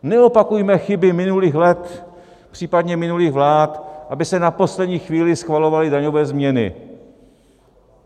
Neopakujme chyby minulých let, případně minulých vlád, aby se na poslední chvíli schvalovaly daňové změny!